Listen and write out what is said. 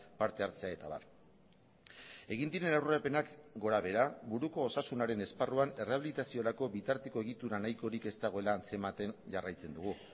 partehartzea eta abar egin diren aurrerapenak gorabehera buruko osasunaren esparruan erreabilitaziorako bitarteko egitura nahikorik ez dagoela antzematen jarraitzen dugu